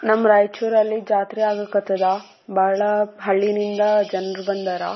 ನಮ್ಮ ರಾಯಚೂರಲ್ಲಿ ಜಾತ್ರೆ ಆಗಕತ್ತಾದ ಬಾಳ ಹಳ್ಳಿನಿಂದ ಜನ್ರು ಬಂದಾರ .